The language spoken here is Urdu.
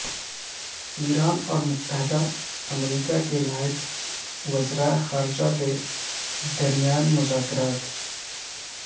ایران اور متحدہ امریکہ کے نائب وزرائے خارجہ کے درمیان مذاکرات